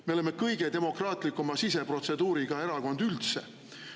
Me oleme kõige demokraatlikuma siseprotseduuriga erakond üldse.